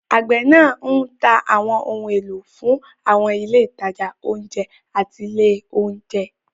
Àgbẹ̀ náà ń ta àwọn ohun èlò náà fún àwọn ilé ìtajà oúnjẹ àti ilé oúnjẹ.